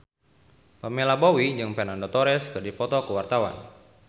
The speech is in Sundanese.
Pamela Bowie jeung Fernando Torres keur dipoto ku wartawan